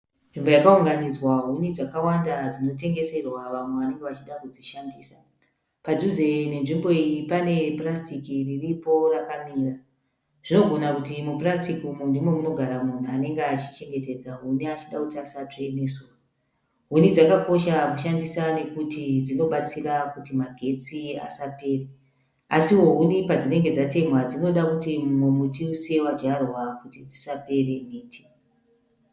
Nzvimbo yakaunganidzwa huni dzakawanda dzinotengeserwa vamwe vanenge vachida kudzishandisa. Padhuze nenzvimbo iyi pane purasitiki riripo rakamira. Zvinogona kuti mupurasitiki umu ndimo munogara munhu anenge achichengetedza huni achida kuti asatsve nezuva. Huni dzakakosha kushandisa nokuti dzinobatsira kuti magetsi asapere. Asiwo huni padzinenge dzatemhwa dzinoda kuti múmwe muti usiye wadyarwa kuti dzisapere miti.